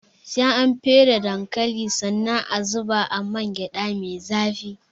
Sai an fere dankalin sannan a zuba a man gyaɗa mai zafi